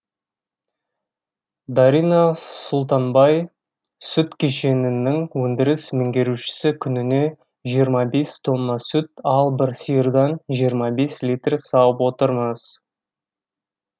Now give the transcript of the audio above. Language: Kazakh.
дарина сұлтанбай сүт кешенінің өндіріс меңгерушісі күніне жиырма бес тонна сүт ал бір сиырдан жиырма бес литр сауып отырмыз